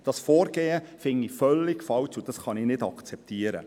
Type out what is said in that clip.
Dieses Vorgehen finde ich völlig falsch und kann es nicht akzeptieren.